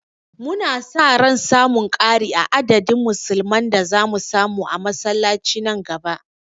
Muna sa ran samun ƙari a adadin musulman da zamu gani a masallaci nan gaba.